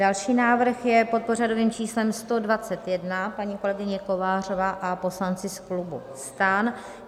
Další návrh je pod pořadovým číslem 121, paní kolegyně Kovářová a poslanci z klubu STAN.